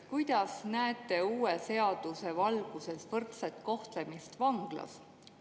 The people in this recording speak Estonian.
Kuidas näete uue seaduse valguses võrdset kohtlemist vanglas?